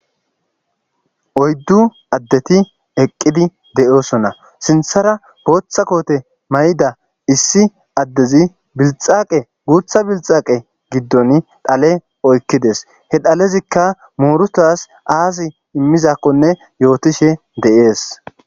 oyddu addeti eqqidi de7oosona sinthara booththa koote may7ida issi addezi bilxaaqe guutha bilxaaqe giddon dhale oykkides he dhalezikka muurutaas aasi immizakkonne yootishe de7ees